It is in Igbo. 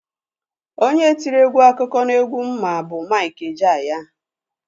Onye tiri egwu akụkọ n'egwu m ma bụ Mik Ejeaya.